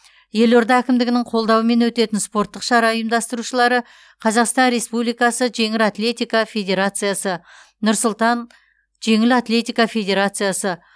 елорда әкімдігінің қолдауымен өтетін спорттық шара ұйымдастырушылары қазақстан республикасы жеңіл атлетика федерациясы нұр сұлтан жеңіл атлетика федерациясы